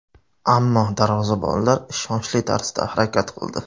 Ammo darvozabonlar ishonchli tarzda harakat qildi.